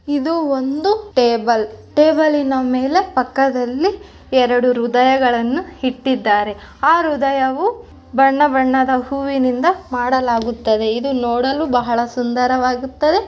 ಇದು ಒಂದು ಟೇಬಲ್ ಟೇಬಲ್ಲಿ ನ ಮೇಲೆ ಪಕ್ಕದಲ್ಲಿ ಎರಡು ಹೃದಯಗಳನ್ನು ಇಟ್ಟಿದ್ದಾರೆ ಆ ಹೃದಯವು ಬಣ್ಣ ಬಣ್ಣದ ಹೂವಿನಿಂದ ಮಾಡಲಾಗುತ್ತದೆ ಇದು ನೋಡಲು ಬಹಳ ಸುಂದರವಾಗುತ್ತದೆ.